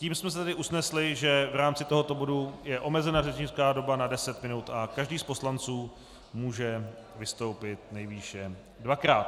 Tím jsme se tedy usnesli, že v rámci tohoto bodu je omezena řečnická doba na deset minut a každý z poslanců může vystoupit nejvýše dvakrát.